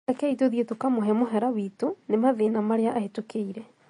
Rekei tũthiĩ tũkamũhe mũhera witũnĩ mathĩna marĩa ahĩtũkĩire